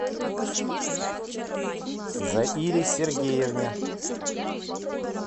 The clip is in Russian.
заире сергеевне